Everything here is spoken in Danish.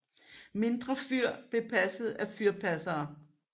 Mindre fyr blev passet af fyrpassere